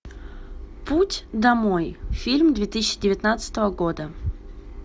путь домой фильм две тысячи девятнадцатого года